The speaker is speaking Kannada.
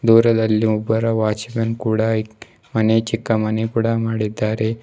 ದೂರದಲ್ಲಿ ಒಬ್ಬರ ವಾಚ್ ಮ್ಯಾನ್ ಕೂಡ ಮನೆ ಚಿಕ್ಕ ಮನೆ ಕೂಡ ಮಾಡಿದ್ದಾರೆ.